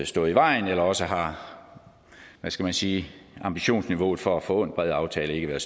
stået i vejen eller også har hvad skal man sige ambitionsniveauet for at få en bred aftale ikke været